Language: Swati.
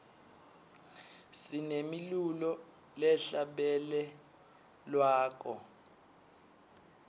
sinemilulo lehla bele lwako